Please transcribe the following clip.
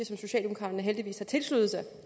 som socialdemokraterne heldigvis har tilsluttet sig